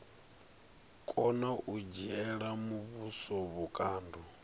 kona u dzhiela muvhuso vhukando